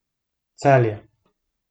Celje.